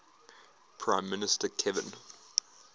prime minister kevin